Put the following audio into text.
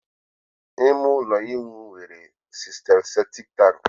ime ụlọ ịwụ nwere sistem septic tank